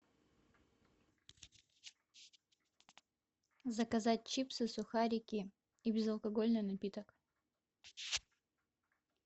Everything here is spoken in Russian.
заказать чипсы сухарики и безалкогольный напиток